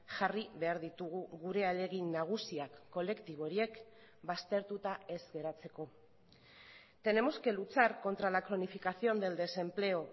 jarri behar ditugu gure ahalegin nagusiak kolektibo horiek baztertuta ez geratzeko tenemos que luchar contra la cronificación del desempleo